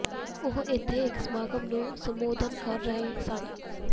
ਉਹ ਇੱਥੇ ਇੱਕ ਸਮਾਗਮ ਨੂੰ ਸੰਬੋਧਨ ਕਰ ਰਹੇ ਸਨ